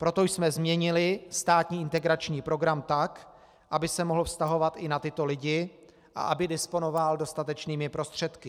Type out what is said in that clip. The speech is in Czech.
Proto jsme změnili státní integrační program tak, aby se mohl vztahovat i na tyto lidi a aby disponoval dostatečnými prostředky.